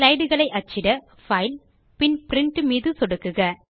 slideகளை அச்சிட பைல் பின் பிரின்ட் மீது சொடுக்குக